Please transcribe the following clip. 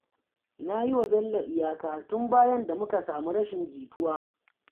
Na yi wa Bello iyaka, tun bayan da muka samu rashin jituwa